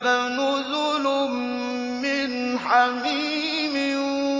فَنُزُلٌ مِّنْ حَمِيمٍ